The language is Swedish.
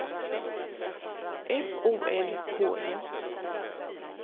F O L K E